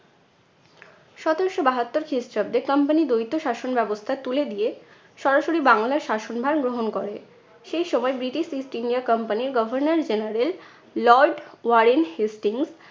সতারশো বাহাত্তর খ্রিস্টাব্দে company দ্বৈত শাসন ব্যবস্থা তুলে দিয়ে সরাসরি বাংলার শাসনভার গ্রহণ করে। সেই সময় ব্রিটিশ east india company র governor general, lord Warren Hastings